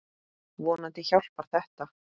Vonandi hjálpar þetta.